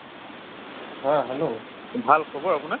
haa hello